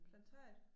Planetariet